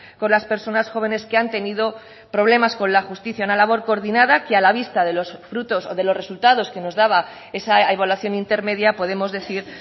con las personas jóvenes que han tenido problemas con la justicia una labor coordinada que a la vista de los frutos o de los resultados que nos daba esa evaluación intermedia podemos decir